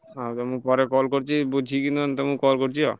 ହଁ ଏବେ ମୁଁ ପରେ call କରୁଚି ବୁଝିକି ନହେଲେ ତମୁକୁ call କରୁଚି ଆଉ।